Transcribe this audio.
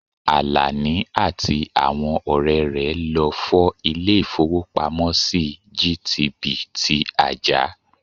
Àlàní àti àwọn ọ̀rẹ́ rẹ̀ lọ fọ́ ilè ìfówópamọ́sí GTB ti Ajah.